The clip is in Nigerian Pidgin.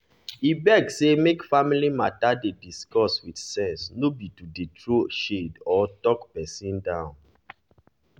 e beg say make family matter dey discussed with sense no be to dey throw shade or talk person down.